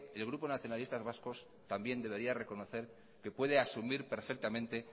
el grupo nacionalistas vascos también debería reconocer que puede asumir perfectamente